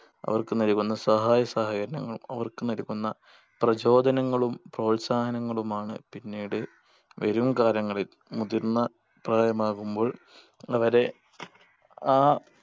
അവർക്ക് നൽകുന്ന സഹായ സഹകരണങ്ങളും അവർക്ക് നൽകുന്ന പ്രചോദനങ്ങളും പ്രോത്സാഹനങ്ങളും ആണ് പിന്നീട് വരും കാലങ്ങളിൽ മുതിർന്ന പ്രായമാകുമ്പോൾ അവരെ ആ